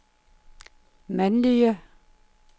mandlige